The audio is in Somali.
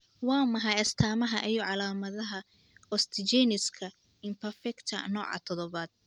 Waa maxay astamaha iyo calaamadaha Osteogenesiska imperfecta nooca todobad?